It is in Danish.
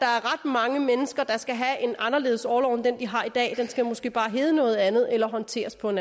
mange mennesker der skal have en anderledes orlov end den de har i dag den skal måske bare hedde noget andet eller håndteres på en